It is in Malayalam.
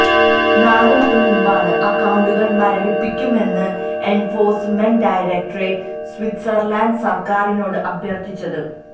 നാല് മാസം മുമ്പാണ് അക്കൌണ്ടുകള് മരവിപ്പിക്കണമെന്ന് എന്ഫോഴ്സ്മെന്റ് ഡയറക്ടറേറ്റ് സ്വിറ്റ്സര്ലന്റ് സര്ക്കാരിനോട് അഭ്യര്ത്ഥിച്ചത്